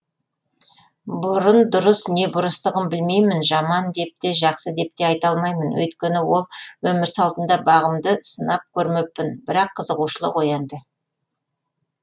бұрын дұрыс не бұрыстығын білмеймін жаман деп те жақсы деп те айта алмаймын өйткені ол өмір салтында бағымды сынап көрмеппін бірақ қызығушылық оянды